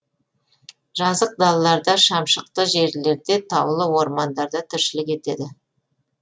жазық далаларда шамшықты жерлерде таулы ормандарда тіршілік етеді